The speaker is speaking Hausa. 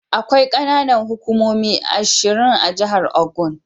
Akwai ƙananan hukumomi ashir a jahar Ogun.